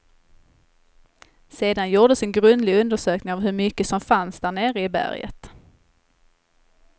Sedan gjordes en grundlig undersökning av hur mycket som fanns där nere i berget.